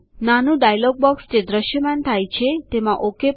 નાનું dialogue box જે દ્રશ્યમાન થાય છે તેમાં ઓક પર ક્લિક કરો